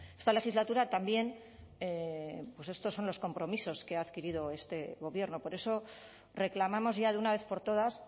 esta legislatura también pues estos son los compromisos que ha adquirido este gobierno por eso reclamamos ya de una vez por todas